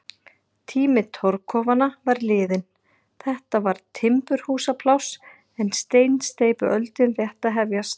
Tími torfkofanna var liðinn, þetta var timburhúsapláss en steinsteypuöldin rétt að hefjast.